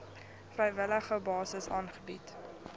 vrywillige basis aangebied